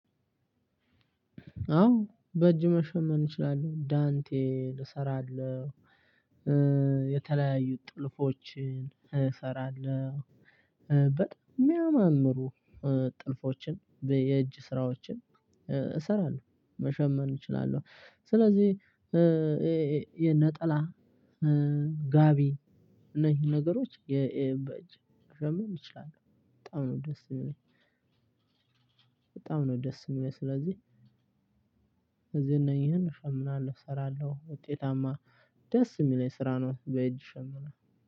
አዎ በእጅ መሸመርን እችላለሁ። ዳንቴል እሰራለሁ። የተለያዩ ጥልፎችን እሰራለሁ። በጣም የሚያማምሩ ጥልፎችን የእጅ ስራዎችን እሰራለሁ። መሸመን እችላለሁ። ስለዚህ የነጠላ ጋቢ እነሂን ነገሮች በእጅ መሸመን እችላለሁ። በጣም ነው ደስ ሚለኝ። በጣም ነው ደስ የሚለኝ። ስለዚህ እዚህ እና እነኚህን እሸምናለሁ፣ እሰራለሁ። ውጤታማ ደስ የሚለኝ ስራ ነው። በእጅ እሸምናለሁ።